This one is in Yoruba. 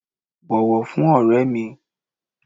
bọwọ fún ore mi!